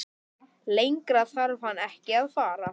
Lengra þarf hann ekki að fara.